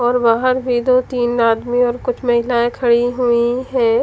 और बाहर भी तो तीन आदमी और कुछ महिलाए खड़ी हुई है।